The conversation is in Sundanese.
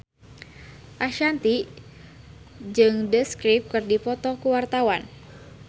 Ashanti jeung The Script keur dipoto ku wartawan